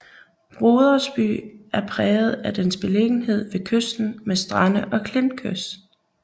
Brodersby er præget af dens beliggenhed ved kysten med strande og klintkyst